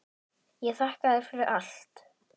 Ég þakka þér fyrir allt.